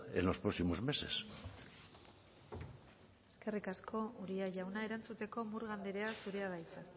en los próximos meses eskerrik asko uria jauna erantzuteko murga andrea zurea da hitza